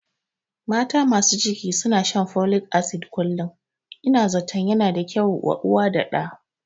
Mata masu ciki suna shan folik asid kullum, Ina zatan yana da kyau wa ɗa da uwa